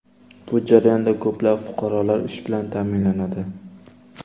Bu jarayonda ko‘plab fuqarolar ish bilan ta’minlanadi.